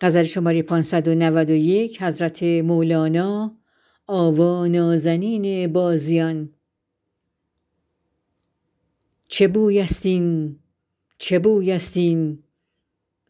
چه بویست این چه بویست این